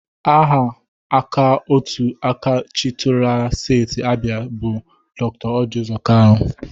Aha aka otu aka chịtụrụla Steti Abia bụ Dr. Orji Uzo Kalu.